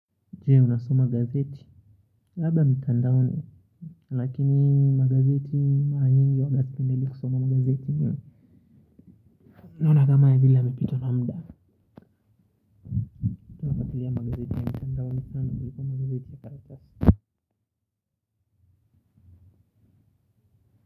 Je unasoma gazeti labda mitandaoni lakini magazeti mara nyingi huwanga situmii kusoma gazeti naonanga vile yamepitwa na muda nategemea magazeti ya mitandaoni sana kuliko magazeti ya karatasi.